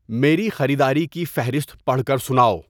میری خریداری کی فہرست پڑھ کر سناؤ